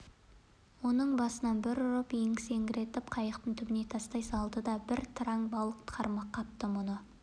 оны басынан бір ұрып есеңгіретіп қайықтың түбіне тастай салды тағы бір тыраң балық қармақ қапты мұны